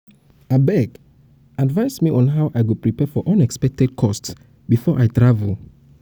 abeg advice me on how i go prepare for unexpected cost before i travel.